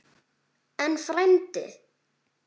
En, frændi